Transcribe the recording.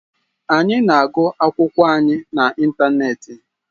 Anyị na-agụ akwụkwọ anyị na ịntanetị.